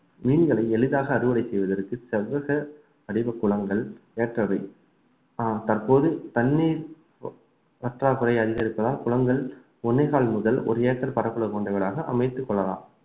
மீன்களை எளிதாக அறுவடை செய்வதற்கு செவ்வக வடிவ குளங்கள் ஏற்றவை ஆஹ் தற்போது தண்ணீர் ப~ பற்றாக்குறை அதிகரிப்பதால் குளங்கள் ஒண்ணேகால் முதல் ஒரு ஏக்கர் பரப்பளவு கொண்டவைகளாக அமைத்துக் கொள்ளலாம்